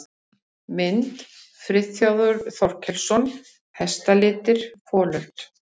Mynd: Friðþjófur Þorkelsson: Hestalitir- folöld.